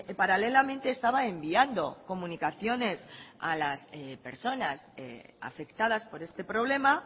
paralelamente estaba enviando comunicaciones a las personas afectadas por este problema